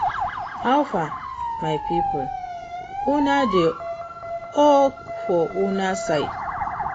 How far, my people? Una dey ok for una side?